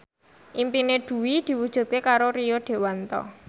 impine Dwi diwujudke karo Rio Dewanto